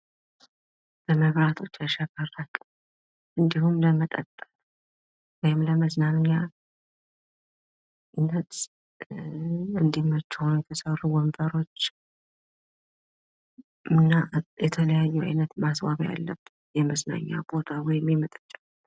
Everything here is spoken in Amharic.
በመብራቶች ያሸበረቀ እንዲሁም ለመጠጥ ወይም ለመዝናኛነት እንዲመቹ ሁነው የተሰሩ ወንበሮች እና የተለያዩ አይነት ማስዋቢያ ያለበት የመዝናኛ ቦታ ወይም የመጠጫ።